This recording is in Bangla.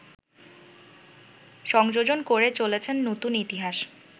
সংযোজন করে চলেছেন নতুন ইতিহাস